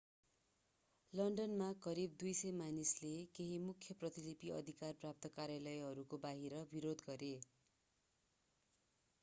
लन्डनमा करिब 200 मानिसले केही मुख्य प्रतिलिपि अधिकार प्राप्त कार्यालयहरूको बाहिर विरोध गरे